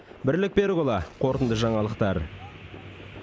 бірлік берікұлы қорытынды жаңалықтар